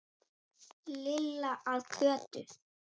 Lilla að Kötu.